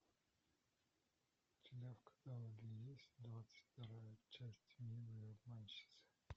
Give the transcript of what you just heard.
у тебя в каталоге есть двадцать вторая часть милые обманщицы